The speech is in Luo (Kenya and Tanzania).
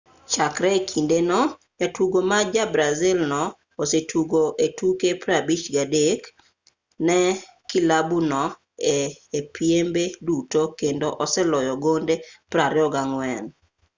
chakre e kinde no jatugo ma ja-brazil no osetugo e tuke 53 ne kilabu no e piembe duto kendo oseloyo gonde 24